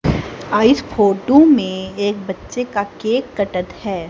और इस फोटो में एक बच्चे का केक कटत है।